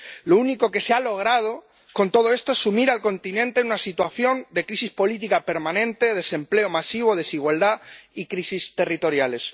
Lo único que se ha logrado con todo esto es sumir al continente en una situación de crisis política permanente, desempleo masivo, desigualdad y crisis territoriales.